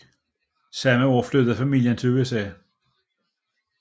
Samme år flyttede familien til USA